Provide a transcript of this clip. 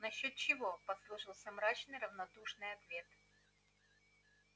насчёт чего послышался мрачный равнодушный ответ